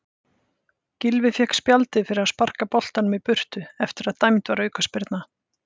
Gylfi fékk spjaldið fyrir að sparka boltanum í burtu eftir að dæmd var aukaspyrna.